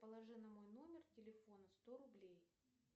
положи на мой номер телефона сто рублей